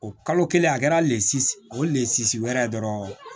O kalo kelen a kɛra o le sise wɛrɛ dɔrɔn